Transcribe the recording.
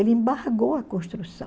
Ele embargou a construção.